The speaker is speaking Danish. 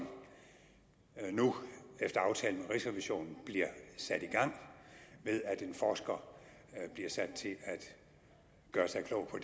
nu efter aftale med rigsrevisionen bliver sat i gang ved at en forsker bliver sat til at gøre sig klog på